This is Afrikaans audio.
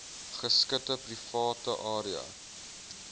geskite private area